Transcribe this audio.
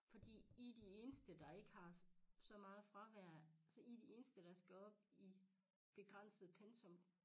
Fordi I de eneste der ikke har så meget fravær så I de eneste der skal op i begrænset pensum